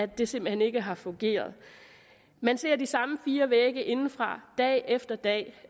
det simpelt hen ikke har fungeret man ser de samme fire vægge indefra dag efter dag